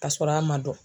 Ka sɔrɔ a ma dɔn